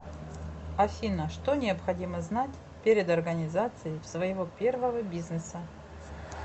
афина что необходимо знать перед организацией своего первого бизнеса